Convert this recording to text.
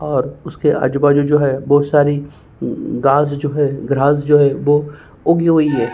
और उसके आजू बाजू जो है बहुत सारी घास जो है ग्रास जो है वो उगी हुई है।